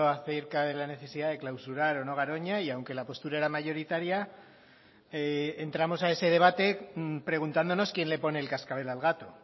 acerca de la necesidad de clausurar o no garoña y aunque la postura era mayoritaria entramos a ese debate preguntándonos quién le pone el cascabel al gato